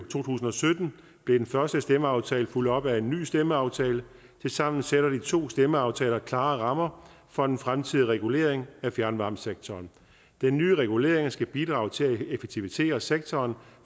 tusind og sytten blev den første stemmeaftale fulgt op af en ny stemmeaftale tilsammen sætter de to stemmeaftaler klare rammer for den fremtidige regulering af fjernvarmesektoren den nye regulering skal bidrage til at effektivisere sektoren